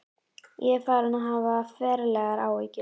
Ég var farinn að hafa ferlegar áhyggjur.